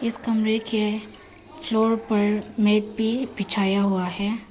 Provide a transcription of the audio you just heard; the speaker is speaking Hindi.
इस कमरे के फ्लोर पर मैट भी बिछाया हुआ है।